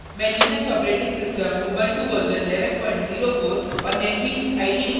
मैं Linux operating system Ubuntu version 1104 और netbeans ide version 711